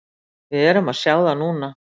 Við erum að sjá það núna.